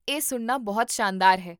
ਇਹ ਸੁਣਨਾ ਬਹੁਤ ਸ਼ਾਨਦਾਰ ਹੈ